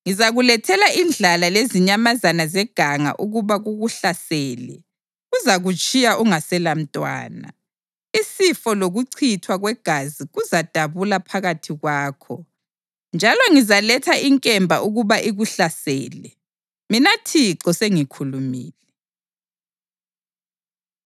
Ngizakulethela indlala lezinyamazana zeganga ukuba kukuhlasele, kuzakutshiya ungaselamntwana. Isifo lokuchithwa kwegazi kuzadabula phakathi kwakho, njalo ngizaletha inkemba ukuba ikuhlasele. Mina Thixo sengikhulumile.”